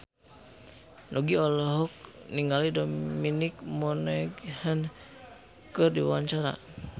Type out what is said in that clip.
Nugie olohok ningali Dominic Monaghan keur diwawancara